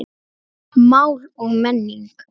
Mál og menning